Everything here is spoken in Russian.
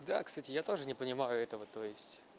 да кстати я тоже не понимаю этого то есть